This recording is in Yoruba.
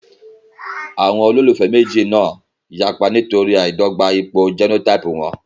Àwọn olólùfẹ́ méjì náà yapa nítorí àìdọ́gba ipò jẹ́nótáípù wọn